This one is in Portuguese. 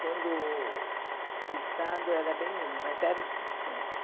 quando o Estado era bem menos, mas era o suficiente.